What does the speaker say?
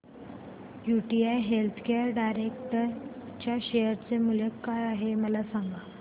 UTI healthcare direct च्या share चे मूल्य काय आहे मला सांगा